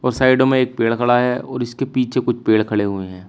साइडो में एक पेड़ खड़ा है और इसके पीछे कुछ पेड़ खड़े हुए हैं।